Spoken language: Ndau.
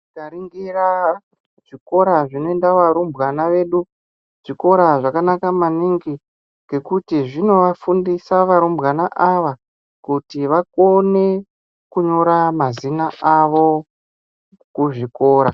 Tikaringira zvikora zvinoenda varumbwana vedu, zvikora zvakanaka maningi, ngekuti zvinovafundisa varumbwana ava kuti vakone kunyora mazina avo kuzvikora.